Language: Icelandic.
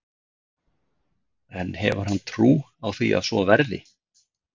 En hefur hann trú á því að svo verði?